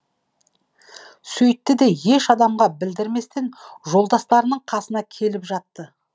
сөйтті де еш адамға білдірместен жолдастарының қасына келіп жатты